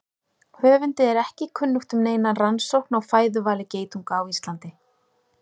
Höfundi er ekki kunnugt um neina rannsókn á fæðuvali geitunga á Íslandi.